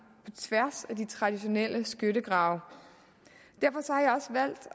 tværs af de traditionelle skyttegrave derfor